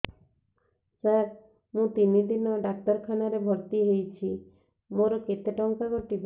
ସାର ମୁ ତିନି ଦିନ ଡାକ୍ତରଖାନା ରେ ଭର୍ତି ହେଇଛି ମୋର କେତେ ଟଙ୍କା କଟିବ